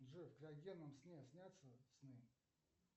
джой в креогенном сне снятся сны